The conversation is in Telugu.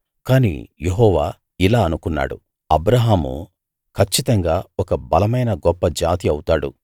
కానీ యెహోవా ఇలా అనుకున్నాడు అబ్రాహాము కచ్చితంగా ఒక బలమైన గొప్ప జాతి అవుతాడు